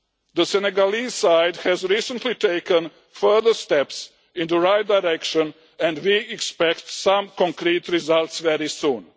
The Senegalese side has recently taken further steps in the right direction and we expect some concrete results very soon.